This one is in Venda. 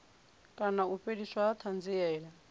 kana u fheliswa ha thanziela